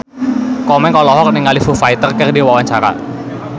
Komeng olohok ningali Foo Fighter keur diwawancara